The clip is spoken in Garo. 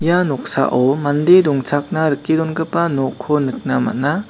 ia noksao mande dongchakna rike dongipa nokko nikna man·a.